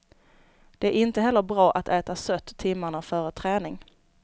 Det är inte heller bra att äta sött timmarna före träning.